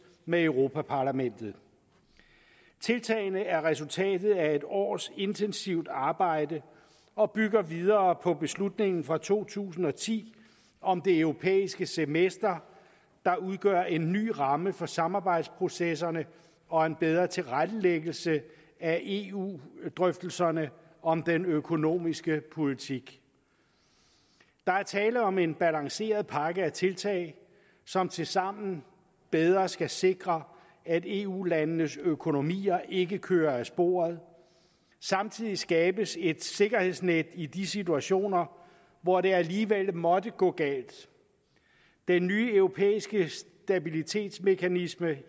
med europa parlamentet tiltagene er resultatet af et års intensivt arbejde og bygger videre på beslutningen fra to tusind og ti om det europæiske semester der udgør en ny ramme for samarbejdsprocesserne og en bedre tilrettelæggelse af eu drøftelserne om den økonomiske politik der er tale om en balanceret pakke af tiltag som tilsammen bedre skal sikre at eu landenes økonomier ikke kører af sporet samtidig skabes et sikkerhedsnet i de situationer hvor det alligevel måtte gå galt den nye europæiske stabilitetsmekanisme